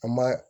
An ma